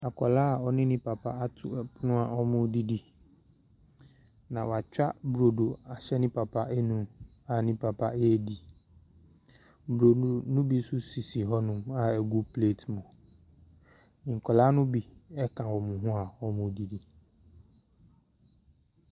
Akwadaa a ɔne ne papa ato pono a wɔredidi, na watwa burodo ahyɛ ne papa anum a ne papa redi. Burodo no bi nso sisi hɔnom a ɛgu plate mu. Nkwadaa no bi ka wɔn ho a wɔredidi.